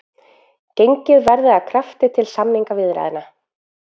Gengið verði að krafti til samningaviðræðna